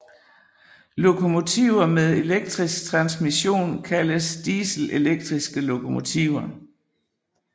Lokomotiver med elektrisk transmission kaldes dieselelektriske lokomotiver